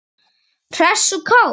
Hress og kát.